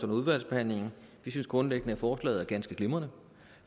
udvalgsbehandlingen vi synes grundlæggende at forslaget er ganske glimrende